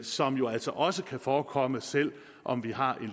som jo altså også kan forekomme selv om vi har en